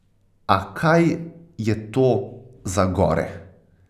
A kaj je to za gore!